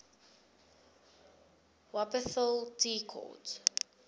wupperthal tea court